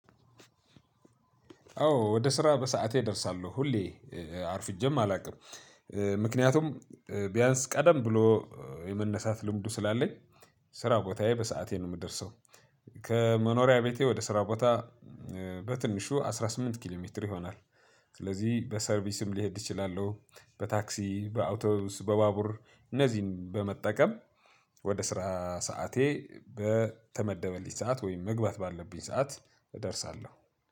አዎ ወደስራ በሰአቴ እደርሳለሁ ሁሌ አርፍጄም አላቅም። ምክንያቱም ቢያንስ ቀደም ብሎ የመነሳት ልምዱ ስላለኝ ስራ ቦታየ በሰአቴ ነው የምደርሰው። ከመኖሪያ ቤቴ ወደ ስራ ቦታ በትንሹ አስራ ስምንት ኪሎ ሜትር ይሆናል። ስለዚህ በሰርቪስም ሊሄድ ይችላል በታክሲ በአውቶቡስ በባቡር እነዚህን በመጠቀም። ወደ ስራ ሰዓቴ በተመደበልኝ ሰዓት ወይም መግባት ባለብኝ ሰዓት እደርሳለሁ